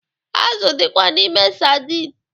Azụ dịkwa n'ime sadin